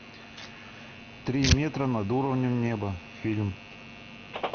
три метра над уровнем неба фильм